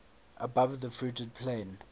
above the fruited plain